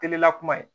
Kelen na kuma ye